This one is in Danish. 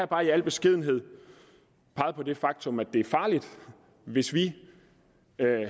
bare i al beskedenhed peget på det faktum at det er farligt hvis vi